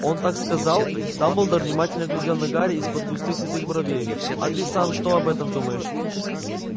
он так сказал дамблдор внимательно глядел на гарри из-под густых седых бровей а ты сам что об этом думаешь